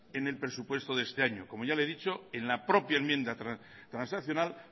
en el presupuesto de este año como ya le he dicho en la propia enmienda transaccional